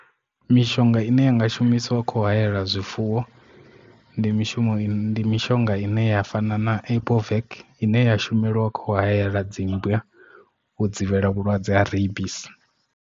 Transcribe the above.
Mishonga ine yanga shumisiwa kho hayela zwifuwo ndi mishumo ndi mishonga ine ya fana na epovek ine ya shumelwa kho hayela dzimmbwa u dzivhela vhulwadze ha rebis.